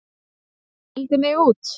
Hún mældi mig út.